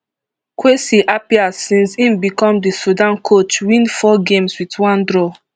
kwesi appiah since im become di sudan coach win four games wit one draw